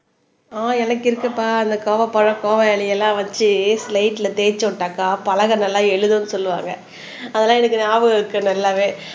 ஆஹ் எனக்கு இருக்குப்பா அந்த கோவப்பழம் கோவ இலையெல்லாம் வச்சு சிலைட்ல தேய்ச்சு விட்டாக்கா பலகை நல்லா எழுதும்ன்னு சொல்லுவாங்க அதெல்லாம் எனக்கு ஞாபகம் இருக்கு நல்லாவே